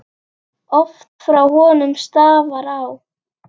Oft frá honum stafar vá.